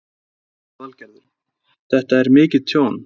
Lillý Valgerður: Þetta er mikið tjón?